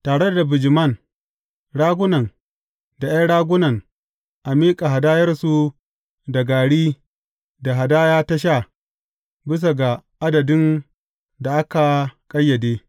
Tare da bijiman, ragunan da ’yan ragunan a miƙa hadayarsu da gari da hadaya ta sha, bisa ga adadin da aka ƙayyade.